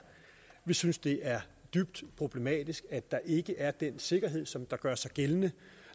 vi synes det er dybt problematisk at der ikke er den sikkerhed som gør sig gældende